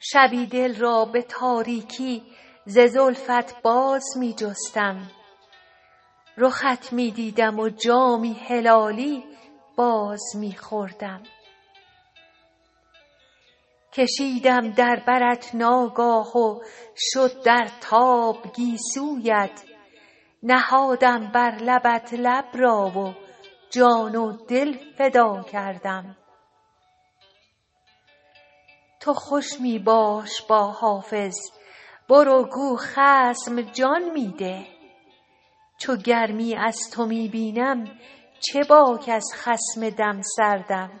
شبی دل را به تاریکی ز زلفت باز می جستم رخت می دیدم و جامی هلالی باز می خوردم کشیدم در برت ناگاه و شد در تاب گیسویت نهادم بر لبت لب را و جان و دل فدا کردم تو خوش می باش با حافظ برو گو خصم جان می ده چو گرمی از تو می بینم چه باک از خصم دم سردم